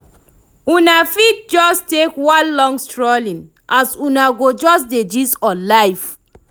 una fit jus take one long strolling as una go jus dey gist on life